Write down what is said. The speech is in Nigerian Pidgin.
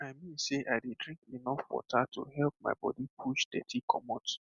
i mean sey i dey drink enough water to help my body push dirty commot